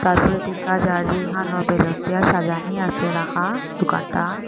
তারপর দিখা যায় যে এহানেও বেলুন দিয়া সাজানি আসে রাখা দুকানটা ।